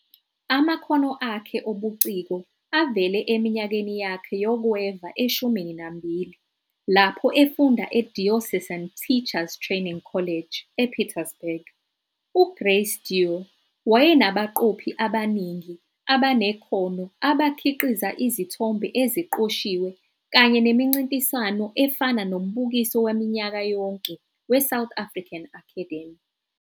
Amakhono akhe obuciko avele eminyakeni yakhe yokweva eshumini nambili, lapho efunda e-Diocesan Teachers Training College ePietersburg. UGrace Dieu wayenabaqophi abaningi abanekhono abakhiqiza izithombe eziqoshiwe kanye nemincintiswano efana nombukiso waminyaka yonke we-South African Academy.